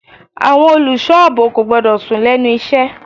Àwọn olùṣọ́ àbò kò gbọ́dọ̀ sùn lẹ́nu iṣẹ́.